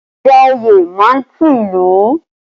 Ìjà òye má ń tú ìlú